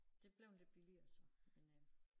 Det blevet lidt billigere så men øh